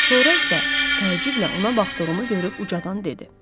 Sonra isə təəccüblə ona baxdığımı görüb ucadan dedi.